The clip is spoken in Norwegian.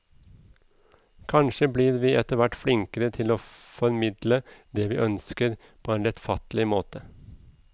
Kanskje blir vi etterhvert flinkere til å formidle det vi ønsker på en lettfattelig måte.